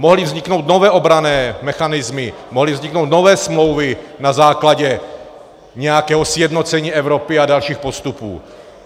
Mohly vzniknout nové obranné mechanismy, mohly vzniknout nové smlouvy na základě nějakého sjednocení Evropy a dalších postupů.